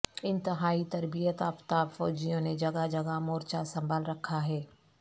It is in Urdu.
انتہائی تربیت یافتہ فوجیوں نے جگہ جگہ مورچہ سنبھال رکھا ہے